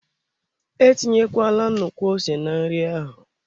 Etinyekwala nnukwu ose na nri ahụ.